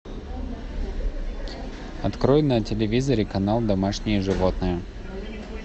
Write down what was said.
открой на телевизоре канал домашние животные